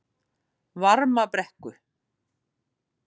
Varmabrekku